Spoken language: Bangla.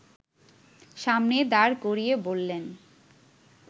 সামনে দাঁড় করিয়ে বললেন